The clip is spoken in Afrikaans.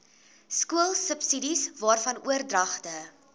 skoolsubsidies waarvan oordragte